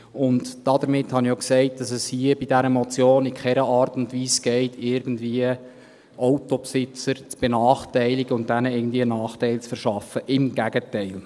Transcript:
Und damit habe ich auch gesagt, dass es bei dieser Motion in keiner Art und Weise darum geht, Autobesitzer irgendwie zu benachteiligen und ihnen einen Nachteil zu verschaffen – im Gegenteil.